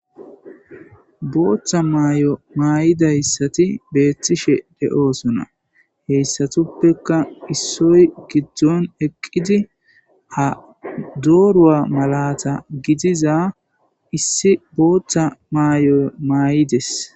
booththa maay7o maayidayssati beettishe de7oosona heyssatuppeka issoy giddzon eqqidi ha dooruwa malata gidiza issi booththa maay7o maay7ides